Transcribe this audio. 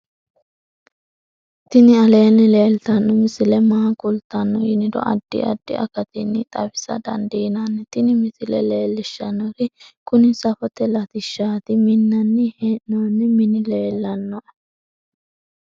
tini aleenni leeltanno misile maa kultanno yiniro addi addi akatinni xawisa dandiinnanni tin misile leellishshannori kuni safote latishshaati minnanni hee'noonni mini leellannoe